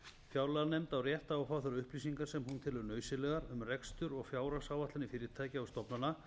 fjárlaganefnd á rétt á að fá þær upplýsingar sem hún telur nauðsynlegar um rekstur og fjárhagsáætlanir fyrirtækja og stofnana